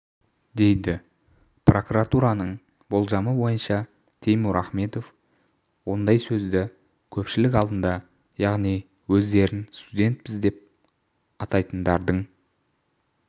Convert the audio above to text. дейді прокуратураның болжамы бойынша теймур ахмедов ондай сөзді көпшілік алдында яғни өздерін студентпіз деп атайтындардың